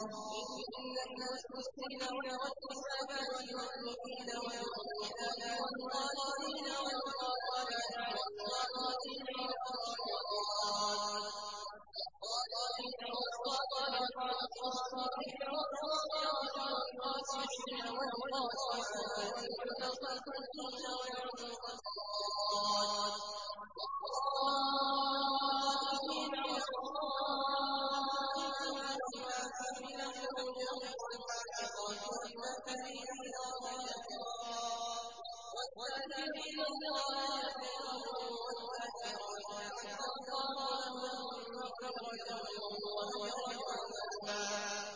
إِنَّ الْمُسْلِمِينَ وَالْمُسْلِمَاتِ وَالْمُؤْمِنِينَ وَالْمُؤْمِنَاتِ وَالْقَانِتِينَ وَالْقَانِتَاتِ وَالصَّادِقِينَ وَالصَّادِقَاتِ وَالصَّابِرِينَ وَالصَّابِرَاتِ وَالْخَاشِعِينَ وَالْخَاشِعَاتِ وَالْمُتَصَدِّقِينَ وَالْمُتَصَدِّقَاتِ وَالصَّائِمِينَ وَالصَّائِمَاتِ وَالْحَافِظِينَ فُرُوجَهُمْ وَالْحَافِظَاتِ وَالذَّاكِرِينَ اللَّهَ كَثِيرًا وَالذَّاكِرَاتِ أَعَدَّ اللَّهُ لَهُم مَّغْفِرَةً وَأَجْرًا عَظِيمًا